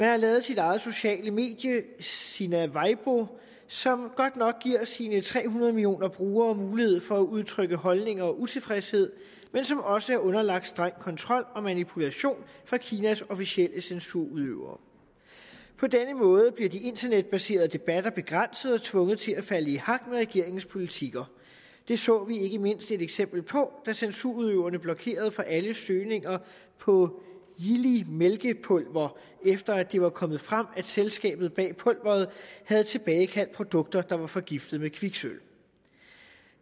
har lavet sit eget sociale medie sina weibo som godt nok giver sine tre hundrede millioner brugere mulighed for at udtrykke holdninger og utilfredshed men som også er underlagt streng kontrol og manipulation fra kinas officielle censurudøvere på denne måde bliver de internetbaserede debatter begrænset og tvunget til at falde i hak med regeringens politikker det så vi ikke mindst et eksempel på da censurudøverne blokerede for alle søgninger på yili mælkepulver efter det var kommet frem at selskabet bag pulveret havde tilbagekaldt produkter der var forgiftet med kviksølv